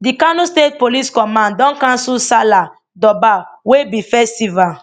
di kano state police command don cancel salah durbar wey be festival